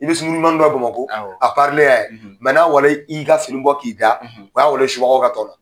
I bɛ sunkuruɲumannin dɔ ye Bamakɔ, a parilen y'a yen n'a wale i ka fini bɔ k'i da o y'a walen subagaw ka tɔn na